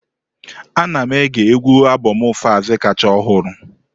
Ana m ege égwù albomu Falz kacha ọhụrụ.